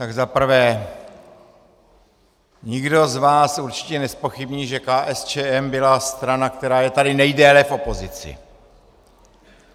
Tak za prvé, nikdo z vás určitě nezpochybní, že KSČM byla strana, která je tady nejdéle v opozici.